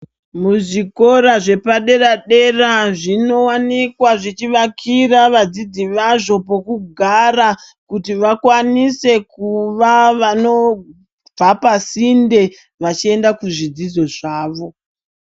Muzvikora zvepadera dera zvinowanikwa zvichivakira vadzidzi vazvo pekugara kuti vakwanise kuva vanobva pasinde vachienda kuzvidzidzo zvawo.